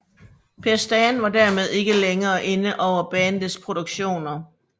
Per Stan var dermed ikke længere inde over bandets produktioner